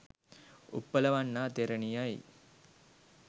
Uppalavanna තෙරණියයි.